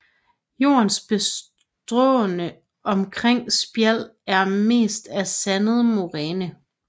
Jordens bestående omkring Spjald er mest af sandet moræne